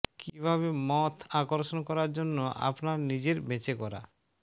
কিভাবে মথ আকর্ষণ করার জন্য আপনার নিজের বেঁচে করা